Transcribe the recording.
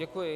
Děkuji.